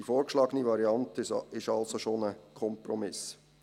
Die vorgeschlagene Variante ist also bereits ein Kompromiss.